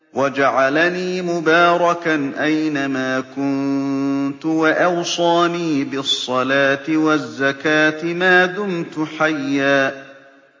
وَجَعَلَنِي مُبَارَكًا أَيْنَ مَا كُنتُ وَأَوْصَانِي بِالصَّلَاةِ وَالزَّكَاةِ مَا دُمْتُ حَيًّا